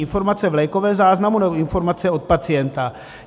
Informace v lékovém záznamu, nebo informace od pacienta?